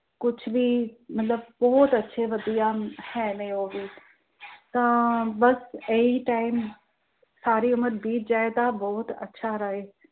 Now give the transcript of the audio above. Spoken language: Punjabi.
ਕੁਝ ਵੀ ਮਤਲਬ ਬਹੁਤ ਅੱਛੇ ਪਤੀ ਹੈ ਨੇ ਉਹ ਵੀ, ਤਾਂ ਬਸ ਇਹ ਹੀ time ਸਾਰੀ ਉਮਰ ਬੀਤ ਜਾਏਂ ਤਾਂ ਬਹੁਤ ਅੱਛਾ ਰਹੇ।